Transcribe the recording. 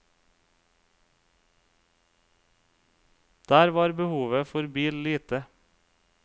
Der var behovet for bil lite.